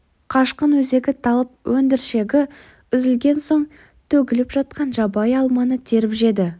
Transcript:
қашқын өзегі талып өндіршегі үзілген соң төгіліп жатқан жабайы алманы теріп жеді